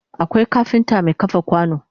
Akwai kafinta Mai kafa kwano